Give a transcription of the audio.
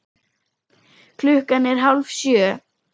Klukkan er hálf sjö.